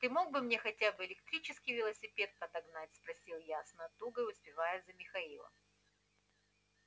ты мог мне хотя бы электрический велосипед подогнать спросил я с натугой успевая за михаилом